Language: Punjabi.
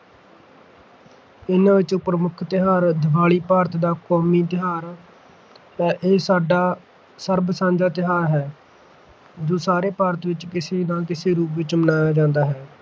ਇਨ੍ਹਾਂ ਵਿੱਚੋਂ ਪ੍ਰਮੁੱਖ ਤਿਉਹਾਰ ਦੀਵਾਲੀ ਭਾਰਤ ਦਾ ਕੌਮੀ ਤਿਉਹਾਰ ਹੈ। ਇਹ ਸਾਡਾ ਸਰਬ- ਸਾਂਝਾ ਤਿਉਹਾਰ ਹੈ ਜੋ ਸਾਰੇ ਭਾਰਤ ਵਿੱਚ ਕਿਸੇ ਨਾ ਕਿਸੇ ਰੂਪ ਵਿੱਚ ਮਨਾਇਆ ਜਾਂਦਾ ਹੈ